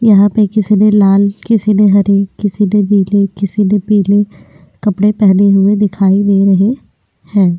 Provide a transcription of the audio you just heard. यहाँ पर किसी ने लाल किसी ने हरी किसी ने नीली किसी ने पीली कपड़े पहने हुए दिखाई दे रहे हैं।